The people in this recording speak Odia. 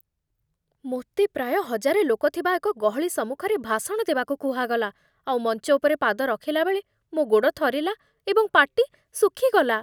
ମୋତେ ପ୍ରାୟ ହଜାରେ ଲୋକ ଥିବା ଏକ ଗହଳି ସମ୍ମୁଖରେ ଭାଷଣ ଦେବାକୁ କୁହାଗଲା, ଆଉ ମଞ୍ଚ ଉପରେ ପାଦ ରଖିଲା ବେଳେ ମୋ ଗୋଡ଼ ଥରିଲା ଏବଂ ପାଟି ଶୁଖି ଗଲା।